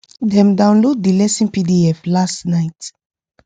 dem download the lesson pdf last night